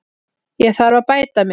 Ég þarf að bæta mig.